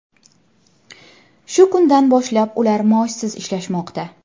Shu kundan boshlab ular maoshsiz ishlamoqda.